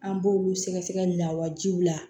An b'olu sɛgɛ sɛgɛli lawajiw la